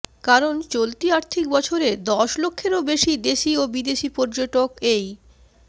কারণ চলতি আর্থিক বছরে দশ লক্ষেরও বেশি দেশী ও বিদেশী পর্যটক এই